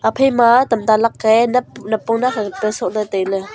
haphaima tamta lakka ee nap napong nakkhat ka tuta soch ley tailey.